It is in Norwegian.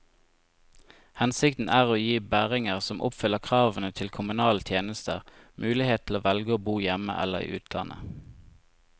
Hensikten er å gi bæringer som oppfyller kravene til kommunale tjenester, mulighet til å velge å bo hjemme eller i utlandet.